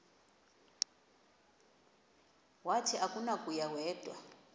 wathi akunakuya wedw